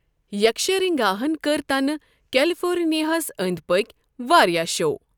یكشرنگاہن کٔرۍ تنہٕ كیلفورنِیاہس أندۍ پٔكۍ وارِیاہ شو۔